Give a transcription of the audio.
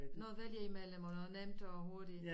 Noget at vælge imellem og nemt og hurtig